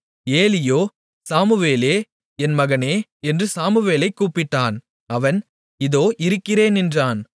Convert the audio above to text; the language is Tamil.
ஏலியோ சாமுவேலே என் மகனே என்று சாமுவேலைக் கூப்பிட்டான் அவன் இதோ இருக்கிறேன் என்றான்